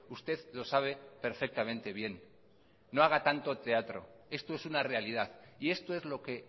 usted lo sabe perfectamente bien no haga tanto teatro esto es una realidad y esto es lo que